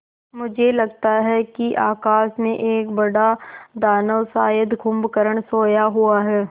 मुझे लगता है कि आकाश में एक बड़ा दानव शायद कुंभकर्ण सोया हुआ है